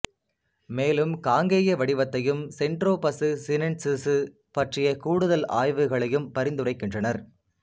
மேலும் காங்கேய வடிவத்தையும் சென்ட்ரோபசு சினென்சிசு பற்றிய கூடுதல் ஆய்வுகளையும் பரிந்துரைக்கின்றனர்